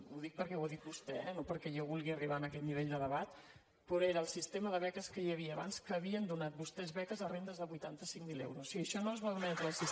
ho dic perquè ho ha dit vostè eh no perquè jo vulgui arribar en aquest nivell de debat però era el sistema de beques que hi havia abans que havien donat vostès beques a rendes de vuitanta cinc mil euros